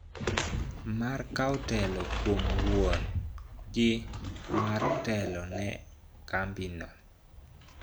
Mar kawo telo kuom wuon gi mar telo ne kambi no